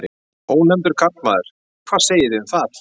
Ónefndur karlmaður: Hvað segið þið um það?